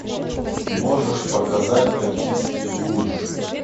можешь показать токийский гуль